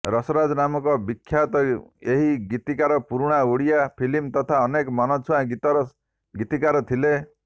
ରସରାଜ ନାମରେ ବିଖ୍ୟାତ ଏହି ଗୀତିକାର ପୁରୁଣା ଓଡ଼ିଆ ଫିଲ୍ମ୍ ତଥା ଅନେକ ମନଛୁଆଁ ଗୀତର ଗୀତିକାର ଥିଲେ